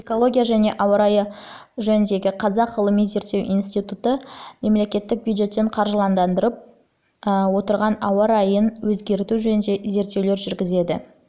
экология және ауа райы жөніндегі қазақ ғылыми-зерттеу институты мемлекеттік бюджеттен қаржыландырып отырған ауа райын өзгерту жөніндегі зерттеулер жүргізеді